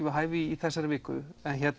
við hæfi í þessari viku